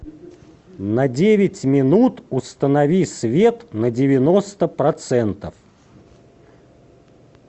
на девять минут установи свет на девяносто процентов